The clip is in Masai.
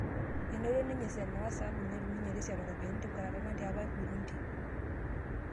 Einoto ninye Senewa saabu netum ninye Resiato ropiyiani tenkwetata natii apa Irburundi